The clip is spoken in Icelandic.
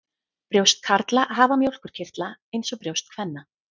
Brjóst karla hafa mjólkurkirtla eins og brjóst kvenna.